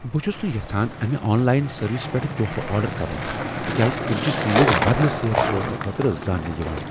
بہٕ چھس نہٕ یژھان امہ آن لاین سروس پیٹھ تحفہٕ آرڈر کرن تکیاز تم چھ چیزٕ بدلہٕ سیر سوزنہٕ خٲطرٕ زانٛنہٕ یوان۔